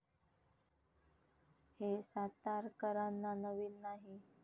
हे सातारकरांना नवीन नाही.